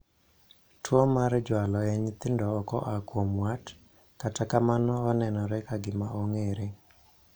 . Tuo mar jwalo e nyithindo okoa kuom wat, kata kamano onenore ka gima ong'ere